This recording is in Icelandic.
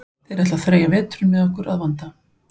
Þeir ætla að þreyja veturinn með okkur að vanda.